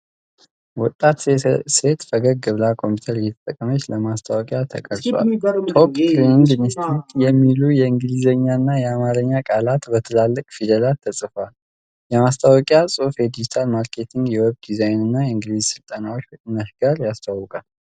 ወጣት ሴት ፈገግ ብላ ኮምፒዩተር እየተጠቀመች ለማስታወቂያ ተቀርጿል። 'ቶፕ ትሬኒግ እንስቲቲት' የሚሉ የእንግሊዝኛና የአማርኛ ቃላት በትላልቅ ፊደላት ተጽፈዋል። የማስታወቂያው ጽሑፍ የዲጂታል ማርኬቲንግ፣ የዌብ ዲዛይንና የእንግሊዝኛ ሥልጠናዎችን ከቅናሽ ጋር ያስተዋውቃል።